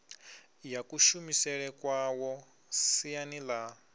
ya kushumisele kwawo siani ḽa